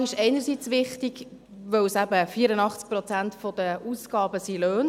Die Lohnfrage ist einerseits wichtig, da eben 84 Prozent der Ausgaben Löhne sind.